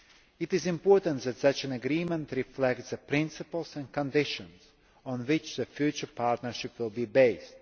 It is important that such an agreement reflects the principles and conditions on which the future partnership will be based.